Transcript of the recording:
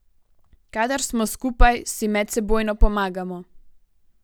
Kadar smo skupaj, si medsebojno pomagamo.